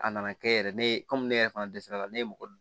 A nana kɛ yɛrɛ ne ye ne yɛrɛ fana dɛsɛra a la ne ye mɔgɔ